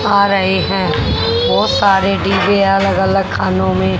आ रहे हैं बहोत सारे डी_जे अलग अलग खानों में--